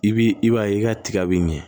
I bi i b'a ye i ka tiga be ɲɛ